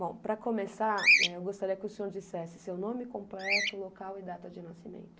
Bom, para começar, eh, eu gostaria que o senhor dissesse seu nome completo, local e data de nascimento.